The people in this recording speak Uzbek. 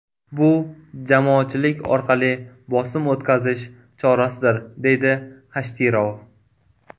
Bu jamoatchilik orqali bosim o‘tkazish chorasidir”, deydi Xashtirov.